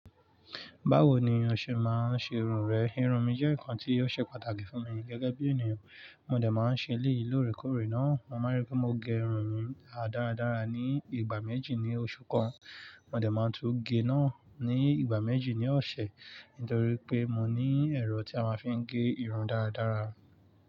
Báwo ni o ṣe máa ń ṣe irun rẹ? Irun mi jẹ́ nǹkan tí ó ṣe pàtàkì fún mi gẹ́gẹ́ bí ènìyàn. Mo dẹ̀ máa ń ṣe eleyi lóòrèkóòrè náà. Mo máa ń rí pé mo gẹ irun mi dáradára ní ìgbà méjì ní oṣù kan. Mo dẹ̀ máa tún gé náà ní ìgbà méjì ní ọ̀sẹ̀ nítorí pé mo ní ẹ̀rọ tí a máa ń fi ń gé irun dáradára.